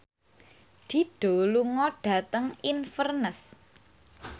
Dido lunga dhateng Inverness